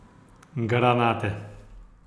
Granate.